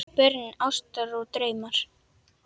Börn ástar og drauma